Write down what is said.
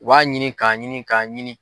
U b'a ɲini k'a ɲini k'a ɲini.